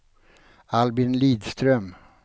Albin Lidström